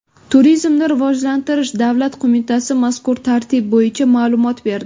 Turizmni rivojlantirish davlat qo‘mitasi mazkur tartib bo‘yicha ma’lumot berdi .